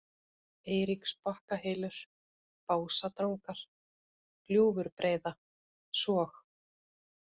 Eiríksbakkahylur, Básadrangar, Gljúfurbreiða, Sog